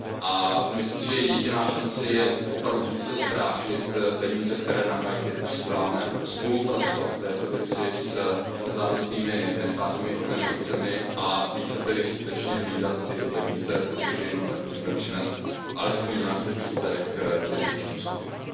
A myslím si, že jediná šance je opravdu více strážit peníze, které na Haiti posíláme, spolupracovat v této věci s nezávislými nestátními organizacemi a více tedy skutečně hlídat tyto peníze, protože jenom tak můžeme přinést alespoň nějaký užitek těm dotčeným skupinám.